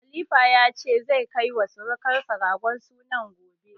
Khalifa ya ce, zai kai wa sirukansa ragon sunan gobe.